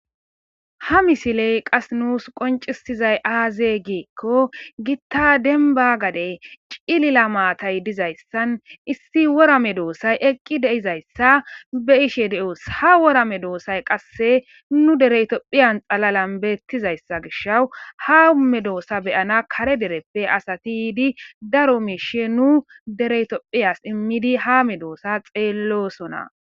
Ha misiley qas nuus qonccissizay aazee giikko giththa denbba gadey cilila maathay dizayssan issi wora medoossay eqqi de7izayssa be7ishe de7oos; ha wora medoosay qasse nu dere itophphiyan xalalan beeththizayssa gishawu ha um medoosa beyanna kare dereppe asathi yiidi daro miishshe nu dere ithophphiyas immidi ha medoosaa xeelloosona.